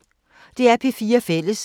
DR P4 Fælles